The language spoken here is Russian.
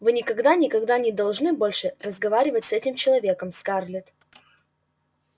вы никогда никогда не должны больше разговаривать с этим человеком скарлетт